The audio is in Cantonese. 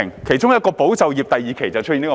在第二期"保就業"計劃便出現了這問題。